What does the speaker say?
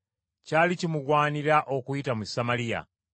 Kyali kimugwanira okuyita mu Samaliya.